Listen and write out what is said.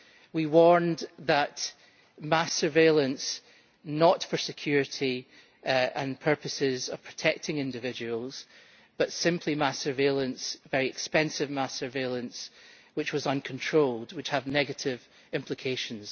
We warned of mass surveillance, not for security and purposes of protecting individuals, but simply mass surveillance, very expensive mass surveillance, which was uncontrolled, which has negative implications.